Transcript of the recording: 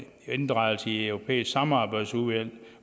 og inddragelse i europæiske samarbejdsudvalg